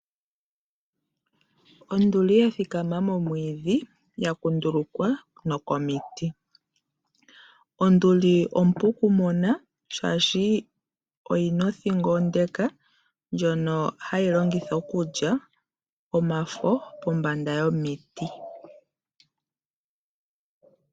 Onduli ya thikama momwiidhi ya kundulukwa komiti. Onduli ompu okumona, oshoka oyi na othingo onde ndjoka hayi longitha okulya omafo pombanda yomiti.